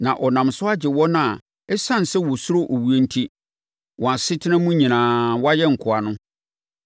Na ɔnam so agye wɔn a ɛsiane sɛ wɔsuro owuo enti, wɔn asetena mu nyinaa, wɔayɛ nkoa no.